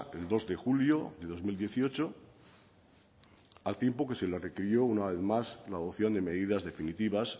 el dos de julio de dos mil dieciocho al tiempo que se le requirió una vez más la adopción de medidas definitivas